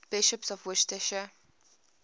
bishops of worcester